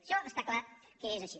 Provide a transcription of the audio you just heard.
això està clar que és així